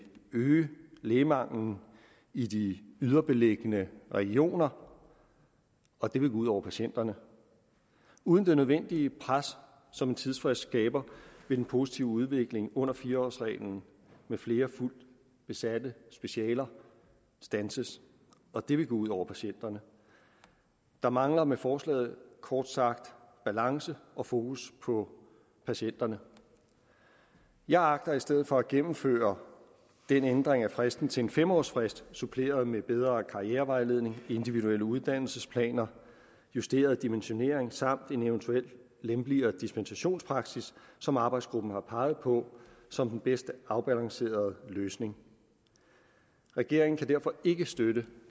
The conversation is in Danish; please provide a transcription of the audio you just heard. øge lægemanglen i de yderliggende regioner og det vil gå ud over patienterne uden det nødvendige pres som en tidsfrist skaber vil den positive udvikling under fire årsreglen med flere fuldt besatte specialer standses og det vil gå ud over patienterne der mangler med forslaget kort sagt balance og fokus på patienterne jeg agter i stedet for at gennemføre en ændring af fristen altså til en fem årsfrist suppleret med bedre karrierevejledning individuelle uddannelsesplaner justeret dimensionering samt en eventuelt lempeligere dispensationspraksis som arbejdsgruppen har peget på som den bedst afbalancerede løsning regeringen kan derfor ikke støtte